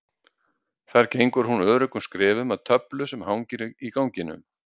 Þar gengur hún öruggum skrefum að töflu sem hangir í ganginum.